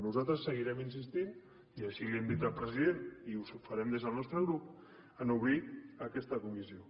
nosaltres seguirem insistint hi i així li ho hem dit al president i ho farem des del nostre grup en obrir aquesta comissió